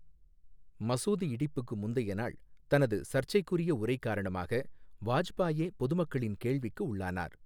மசூதி இடிப்புக்கு முந்தைய நாள் தனது சர்ச்சைக்குரிய உரை காரணமாக வாஜ்பாயே பொதுமக்களின் கேள்விக்கு உள்ளானார்.